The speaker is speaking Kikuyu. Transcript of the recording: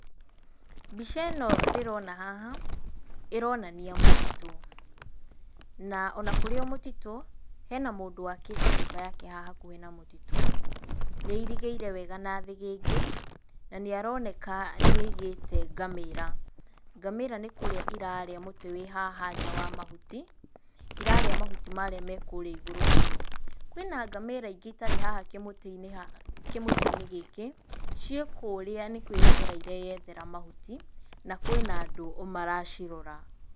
Mbica ĩno ndĩrona haha ĩronania mũtitũ. Na ona kũrĩ o mũtitũ, hena mũndũ wakĩte nyũmba yake haha hakuhĩ na mũtitũ. Nĩ airigĩire wega na thĩgĩngĩ na nĩ aroneka nĩaigĩte ngamĩra. Ngamĩra nĩ kũrĩa irarĩa mũtĩ wĩ haha nja wa mahuti, irarĩa mahuti marĩa me kũrĩa igũrũ biũ. Kwĩna ngamĩra ingĩ itarĩ haha kĩmũtĩ-inĩ, kĩmũtĩ-inĩ gĩkĩ, ciĩ kũũrĩa nĩ kwĩyethera ireyethera mahuti, na kwĩna andũ maracirora.